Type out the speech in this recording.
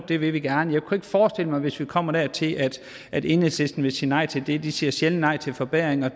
det vil vi gerne jeg kunne forestille mig hvis vi kommer dertil at enhedslisten vil sige nej til det de siger sjældent nej til forbedringer